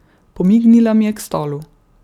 Pomignila mi je k stolu.